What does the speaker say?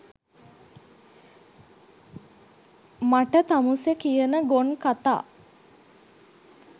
මට තමුසෙ කියන ගොන් කතා